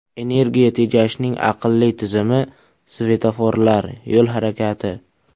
Energiya tejashning aqlli tizimi, svetoforlar, yo‘l harakati.